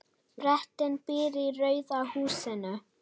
Bretinn býr í rauða húsinu.